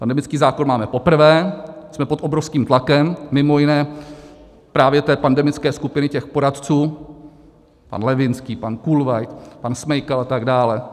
Pandemický zákon máme poprvé, jsme pod obrovským tlakem, mimo jiné právě té pandemické skupiny, těch poradců - pan Levínský, pan Kulveit, pan Smejkal a tak dál.